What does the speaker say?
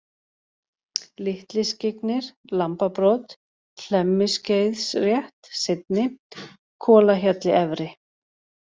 Litliskyggnir, Lambabrot, Hlemmiskeiðsrétt (seinni), Kolahjalli-efri